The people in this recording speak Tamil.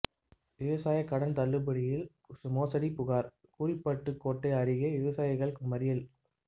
விவசாயக் கடன் தள்ளுபடியில் மோசடி புகாா் கூறிபட்டுக்கோட்டை அருகே விவசாயிகள் மறியல்